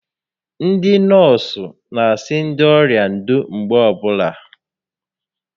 Ndị nọọsụ n'asị ndị ọrịa ndo mgbe ọbụla